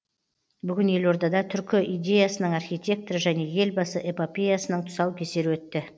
бүгін елордада түркі идеясының архитекторы және елбасы эпопеясының тұсау кесері өтті